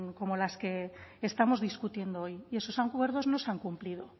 como las que estamos discutiendo hoy y esos acuerdos no se han cumplido